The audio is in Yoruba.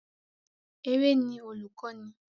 Eré ni olùkọ́ni